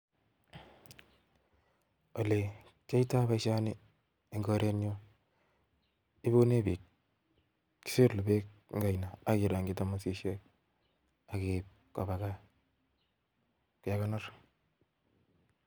ole kiyoito boisioni eng koretnyun, ibunen biik, kisilu beek en oino ak irongyi thamosisiek ak iib koba gaa kekonor